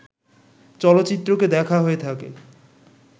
চলচ্চিত্রকে দেখা হয়ে থাকে